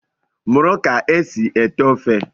Mụrụ ka e si ete ofe!